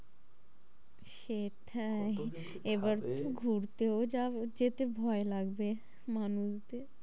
সেটাই, কত জনকে খাবে? এবার তো ঘুরতেও যাব যেতে ভয় লাগবে মানুষদের,